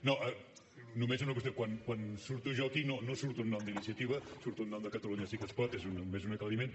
no només una qüestió quan surto jo aquí no surto en nom d’iniciativa surto en nom de catalunya sí que es pot és només un aclariment